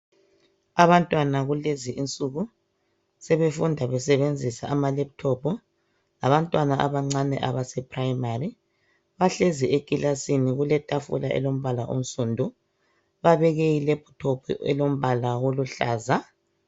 Abantwana kulezi insuku sebefunda besebenzisa ama laptop labantwana abancane abase primary bahlezi elikilasini kuletafula elombala onsundu babeke I laptop elombala oluhlaza